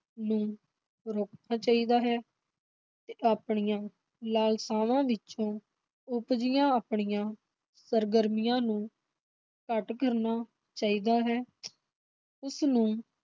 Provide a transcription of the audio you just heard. ਨੂੰ ਰੋਕਣਾ ਚਾਹੀਦਾ ਹੈ ਤੇ ਆਪਣੀਆਂ ਲਾਲਸਾਵਾਂ ਵਿਚੋਂ ਉਪਜੀਆਂ ਆਪਣੀਆਂ ਸਰਗਰਮੀਆਂ ਨੂੰ ਘੱਟ ਕਰਨਾ ਚਾਹੀਦਾ ਹੈ ਉਸਨੂੰ